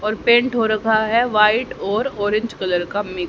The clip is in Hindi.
और पेंट हो रखा है व्हाइट और ऑरेंज कलर का